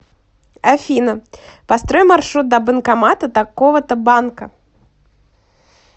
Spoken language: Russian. афина построй маршрут до банкомата такого то банка